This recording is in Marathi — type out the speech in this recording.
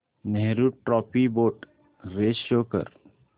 Nehru trophy boat race show कर